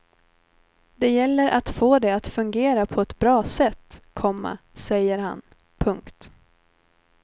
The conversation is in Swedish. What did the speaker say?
Det gäller att få det att fungera på ett bra sätt, komma säger han. punkt